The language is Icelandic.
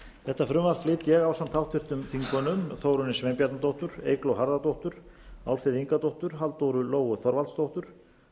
þetta frumvarp flyt ég ásamt háttvirtum þingmanni þórunni sveinbjarnardóttur eygló harðardóttur álfheiði ingadóttur halldóru lóu þorvaldsdóttur